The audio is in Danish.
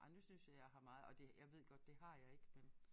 Ej nu synes jeg jeg har meget og det jeg ved godt det har jeg ikke men